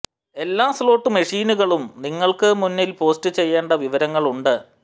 എല്ലാ സ്ലോട്ട് മെഷീനുകളും നിങ്ങൾക്ക് മുന്നിൽ പോസ്റ്റ് ചെയ്യേണ്ട വിവരങ്ങൾ ഉണ്ട്